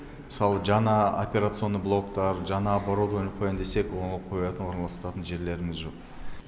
мысалы жаңа операционный блоктар жаңа оборудование қоям десек оны қоятын орналастыратын жерлеріміз жоқ